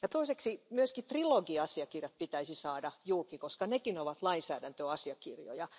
Toiseksi myös trilogiasiakirjat pitäisi saada julki, koska nekin ovat lainsäädäntöasiakirjoja.